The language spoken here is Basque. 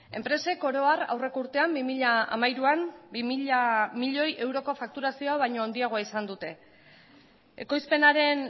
enpresek oro har aurreko urtean bi mila hamairuan bi mila milioi euroko fakturazioa baino handiagoa izan dute ekoizpenaren